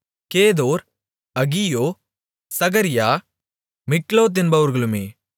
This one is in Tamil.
கேதோர் அகியோ சகரியா மிக்லோத் என்பவர்களுமே